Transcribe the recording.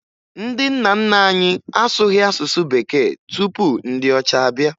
Ndị nna nna anyị asụghị asụsụ bekee tupu ndị ọcha abịa